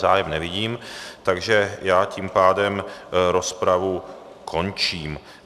Zájem nevidím, takže já tím pádem rozpravu končím.